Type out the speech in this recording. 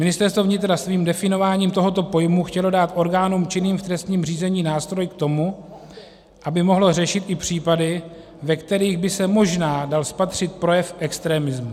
Ministerstvo vnitra svým definováním tohoto pojmu chtělo dát orgánům činným v trestním řízení nástroj k tomu, aby mohlo řešit i případy, ve kterých by se možná dal spatřit projev extremismu.